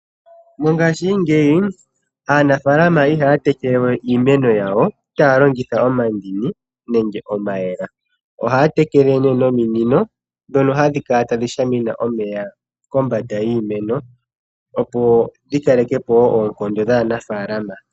Mongaashingeyi aanafaalama ihaya tekelewe iimeno taya longitha omandini nenge omayela ,ohaya tekele nominino ndhono hadhi kala tadhi shamine omeya kombanda yiimeno opo dhikale kepo oonkando dhaanafaalama.